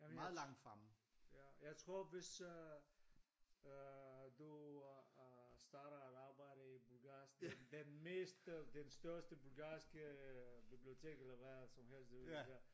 Der vil jeg tro ja jeg tror hvis øh øh du starter et arbejde i bulgarsk den den mest øh den største bulgarske bibliotek eller hvad som helst du ved der